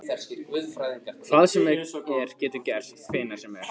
Hvað sem er getur gerst hvenær sem er.